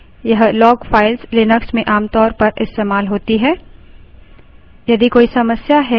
हमने पिछले उदाहरण में सिर्फ auth log file देखी